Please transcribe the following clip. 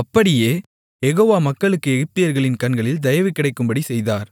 அப்படியே யெகோவா மக்களுக்கு எகிப்தியர்களின் கண்களில் தயவுகிடைக்கும்படிச் செய்தார்